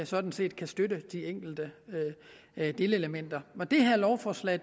sådan set kan støtte de enkelte delelementer med det her lovforslag